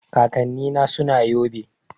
Kakanni na suna yobe